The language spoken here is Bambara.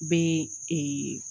Bɛ ee